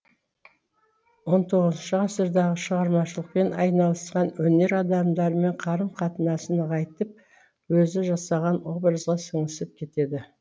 он тоғызыншы ғасырдағы шығармашылықпен айналысқан өнер адамдарымен қарым қатынасын нығайтып өзі жасаған образға сіңісіп кетеді